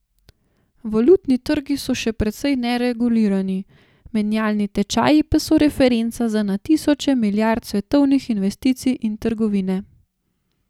Valutni trgi so še precej neregulirani, menjalni tečaji pa so referenca za na tisoče milijard svetovnih investicij in trgovine.